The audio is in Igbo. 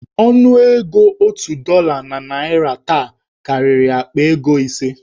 Ọnụego otu dọla na naịra taa karịrị akpa ego ise.